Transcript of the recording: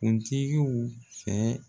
Kuntigiw fɛ